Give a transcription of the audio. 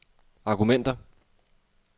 argumenter